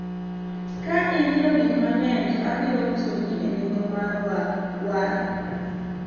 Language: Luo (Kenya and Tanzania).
ka inyiewo gik mang'eny to abiro uso ni e nengo mar war